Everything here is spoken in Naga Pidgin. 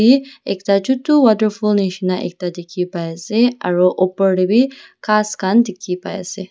te ekta chutu waterfall nishina ekta dikhipaiase aro opor tae bi ghas khan dikhipaiase.